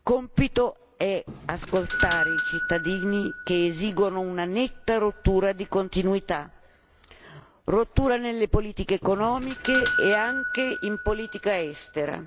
Compito è ascoltare i cittadini che esigono una netta rottura di continuità rottura nelle politiche economiche e anche in politica estera.